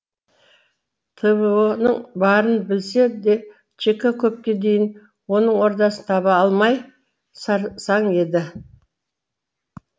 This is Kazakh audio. тво ның барын білсе де чк көпке дейін оның ордасын таба алмай сарсаң еді